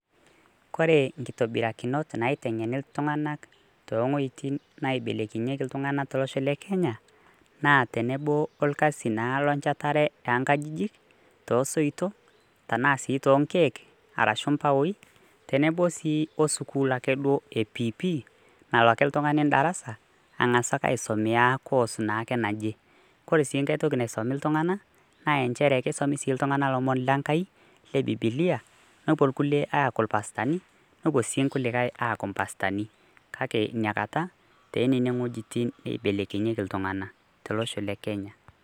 Ore inkitobirak naiteng'eni iltung'anak toowaitin naaibelekenyieki iltung'anak tolosho le Kenya naa tenebo orkasi naa lenchetare oonkajijik osoitok arashu aa sii toonkeek ashu imbaoi, tenebo sii osukuuluni e PP nalo ake oltung'ani darasa ang'asa ake naa aisomoea course naa ake naje. Ore sii enkae toki naisumi iltung'anak naa nchere kisimi ake sii iltung'anak ilomon le Enkai le Biblia, nepuo irkulikai aaku irpastani nepuo sii inkulikai aaku impastani kake ina kata toonene wuejitin naibelekenyieki iltung'anak tolosho le Kenya.